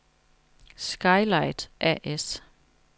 Sky-Light A/S